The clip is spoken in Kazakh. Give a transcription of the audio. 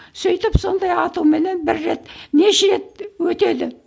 сөйтіп сондай атуменен бір рет неше рет өтеді